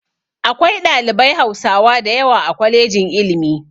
Akwai ɗalibai hausawa dayawa a kwalejin iilmi